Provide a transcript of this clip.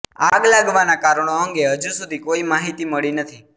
આગ લાગવાના કારણો અંગે હજુ સુધી કોઇ માહિતી મળી નથી